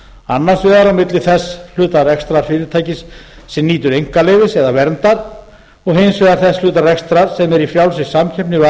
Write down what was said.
annars vegar á milli þess hluta rekstrar fyrirtækisins sem nýtur einkaleyfis eða verndar og hins vegar þess hluta rekstrar sem er í frjálsri samkeppni við